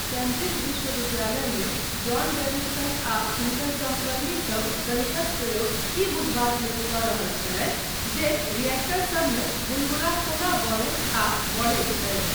Cambridge विश्वविद्यालयमे John Davidson आ हुनकर सहकर्मीसब गणितक प्रयोग ई बुझबाक लेल कऽ रहल छलथि जे रिएक्टरसबमे बुलबुला कोना बनैत आ बढ़ैत छै।